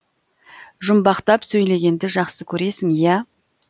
жұмбақтап сөйлегенді жақсы көресің ия